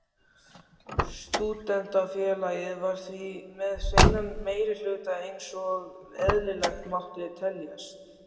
Stúdentafélagið var því með hreinan meirihluta einsog eðlilegt mátti teljast.